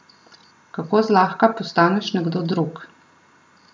Kako zlahka postaneš nekdo drug!